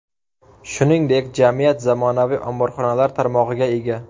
Shuningdek, jamiyat zamonaviy omborxonalar tarmog‘iga ega.